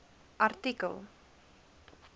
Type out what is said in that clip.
artikel